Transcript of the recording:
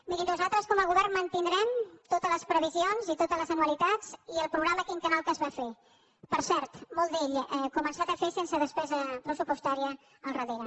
miri nosaltres com a govern mantindrem totes les previsions i totes les anualitats i el programa quinquennal que es va fer per cert molt d’ell començat a fer sense despesa pressupostària al darrere